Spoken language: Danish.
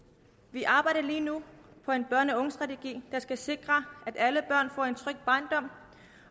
vi arbejder lige nu på en børne og ungestrategi der skal sikre at alle børn får en tryg barndom